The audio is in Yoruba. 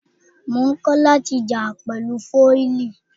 Mò ń kọ́ láti jà pẹ̀lú fọ́ìlì.